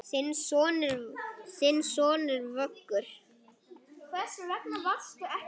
Þinn sonur, Vöggur.